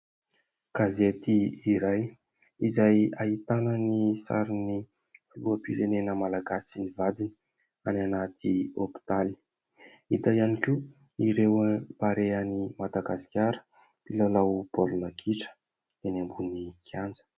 Gazety iray izay ahitana ny sarinin'ny filoham-pirenena Malagasy sy ny vadiny any anaty hopitaly hita ihany koa ireo Barea an'i Madagasikara mpilalao baolina kitra eny ambony kianja.